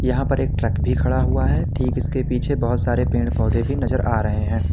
यहां पर एक ट्रक भी खड़ा हुआ है ठीक इसके पीछे बहुत सारे पेड़ पौधे भी नजर आ रहे हैं।